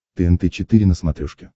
тнт четыре на смотрешке